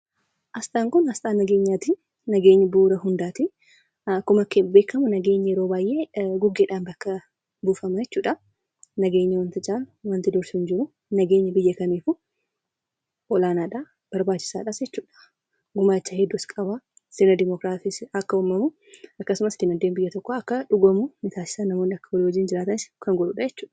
Asxaan kun, asxaa nageenyaati. nageenyi bu'uura hundaati. akkuma beekamu nageenyi yeroo baay'ee gugeedhan bakka buufama. nageenya wanti dursu hin jiru. nageenyi biyya kamiifuu olaanaadha, barbaachisadha.